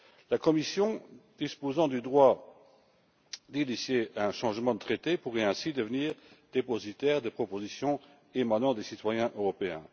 La Commission, disposant du droit d'initier un changement de traité, pourrait ainsi devenir dépositaire de propositions émanant des citoyens européens.